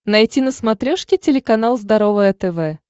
найти на смотрешке телеканал здоровое тв